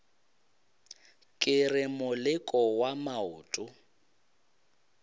ke re moleko wa maoto